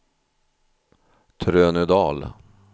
Trönödal